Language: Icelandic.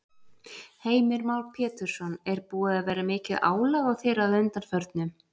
Heimir Már Pétursson: Er búið að vera mikið álag á þér að undanförnu?